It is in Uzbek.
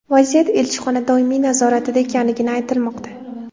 Vaziyat elchixona doimiy nazoratida ekanligi aytilmoqda.